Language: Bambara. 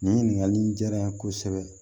Nin ɲininkakali in diyara n ye kosɛbɛ